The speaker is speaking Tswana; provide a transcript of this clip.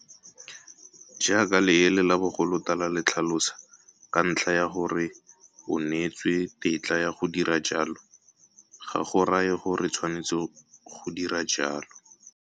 Jaaka leele la bogolotala le tlhalosa, ka ntlha ya gore o neetswe tetla ya go dira jalo, ga go raye gore o tshwanetse go dira jalo.